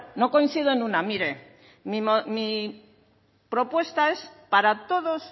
no coincido en una mire mi propuesta es para todos